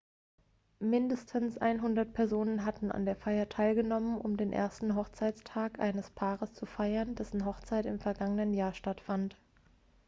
mindestens 100 personen hatten an der feier teilgenommen um den ersten hochzeitstag eines paares zu feiern dessen hochzeit im vergangenen jahr stattfand